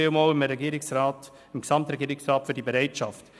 Vielen Dank dem Gesamtregierungsrat für diese Bereitschaft.